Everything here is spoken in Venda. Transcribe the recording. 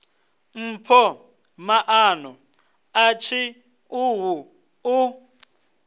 mpho maano a tshiṱuhu u